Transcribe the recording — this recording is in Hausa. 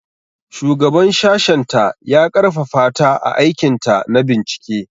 Shugaban sashenta ya ƙarfafa ta a aikinta na bincike.